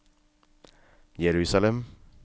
Jerusalem